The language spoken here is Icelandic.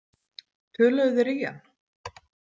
Töluðu þeir í hann?